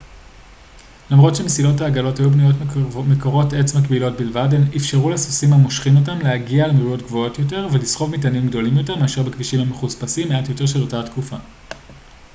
למרות שמסילות העגלות היו בנויות מקורות עץ מקבילות בלבד הן אפשרו לסוסים המושכים אותן להגיע למהירויות גבוהות יותר ולסחוב מטענים גדולים יותר מאשר בכבישים המחוספסים מעט יותר של התקופה